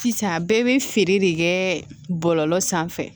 Sisan bɛɛ bɛ feere de kɛ bɔlɔlɔ sanfɛ